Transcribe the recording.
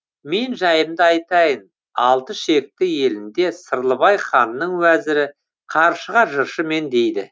мен жайымды айтайын алты шекті елінде сырлыбай ханның уәзірі қаршыға жыршы мен дейді